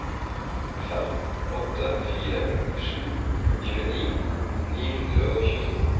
fem åtte fire sju tjueni ni hundre og tjueto